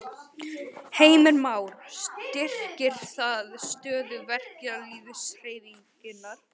Heimir Már: Styrkir það stöðu verkalýðshreyfingarinnar?